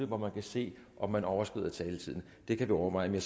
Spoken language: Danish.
hvor man kan se om man overskrider taletiden det kan vi overveje men